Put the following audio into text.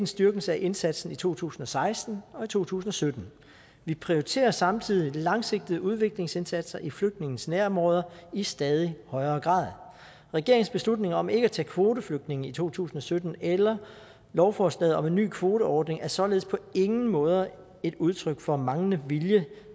styrkelse af indsatsen i to tusind og seksten og to tusind og sytten vi prioriterer samtidig de langsigtede udviklingsindsatser i flygtninges nærområder i stadig højere grad regeringens beslutning om ikke at tage kvoteflygtninge i to tusind og sytten eller lovforslaget om en ny kvoteordning er således på ingen måde et udtryk for manglende vilje